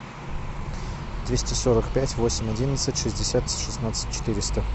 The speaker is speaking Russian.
двести сорок пять восемь одиннадцать шестьдесят шестнадцать четыреста